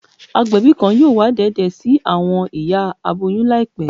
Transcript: Agbẹbi kan yoo wa deede si awọn iya aboyun laipe